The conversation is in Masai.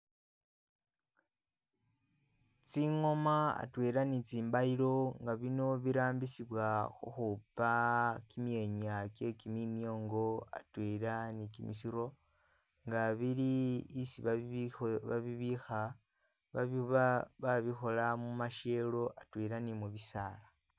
tsingoma atwela ni tsimbayilo nga bino birambisibwa huhupa kimyenya kye kiminyongo atwela ni kimisiro nga bili isi babibiho babibiha babiba babihola mumasyelo atwela ni mu bisaala